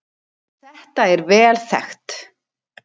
Þetta er vel þekkt